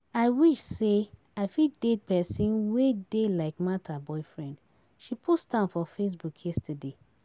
I wish say I fit date person wey dey like Martha boyfriend, she post am for facebook yesterday